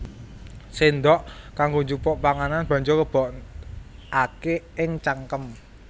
Séndhok kanggo njupuk panganan banjur lebokaké ing cangkem